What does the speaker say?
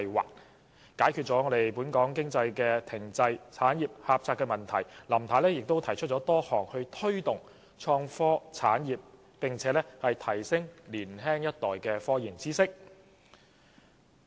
為了解決本港經濟停滯、產業狹窄的問題，林太又提出多項措施推動"創科產業"，以及提升年青一代的科研知識。